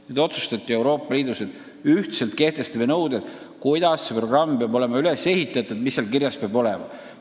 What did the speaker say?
Nüüd otsustati Euroopa Liidus, et kehtestatakse ühtsed nõuded, kuidas see programm peab olema üles ehitatud, mis seal kirjas peab olema.